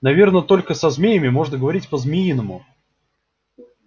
наверно только со змеями можно говорить по-змеиному